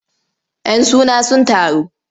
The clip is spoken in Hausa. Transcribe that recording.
Yan suna sun taru.